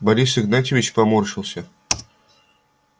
борис игнатьевич поморщился